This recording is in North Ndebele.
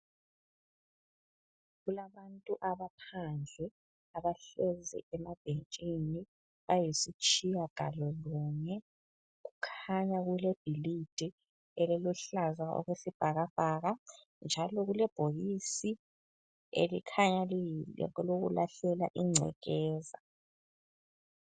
Kulabantu abaphandle abahlezi emabhentshini ayisitshiyagalolunye. Kukhanya kulebhilidi eliluhlaza okwesibhakabhaka njalo kulebhokisi elikhanya lingelokulahlela ingcekeza.